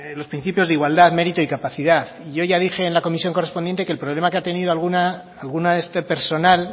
los principios de igualdad mérito y capacidad y yo ya dije en la comisión correspondiente que el problema que ha tenido alguna de este personal